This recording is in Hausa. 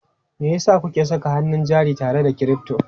Me yasa kuke saka hannun jari tare da crypto?